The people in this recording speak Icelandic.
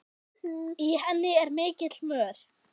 Í henni er mikill mör.